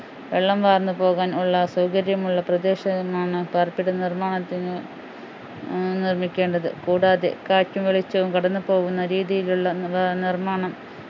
വെള്ളം വാർന്നു പോകാൻ ഉള്ള സൗകര്യമുള്ള പ്രദേശമാണ് പാർപ്പിട നിർമ്മാണത്തിന് ഏർ നിർമിക്കേണ്ടത് കൂടാതെ കാറ്റും വെളിച്ചവും കടന്നുപോകുന്ന രീതിയിലുള്ള നിർ നിർമ്മാണം